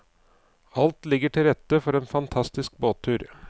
Alt ligger til rette for en fantastisk båttur.